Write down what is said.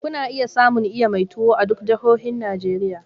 Kuna iya samun iya mai tuwo a duk jahohin Najeriya.